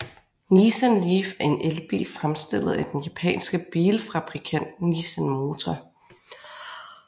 Nissan Leaf er en elbil fremstillet af den japanske bilfabrikant Nissan Motor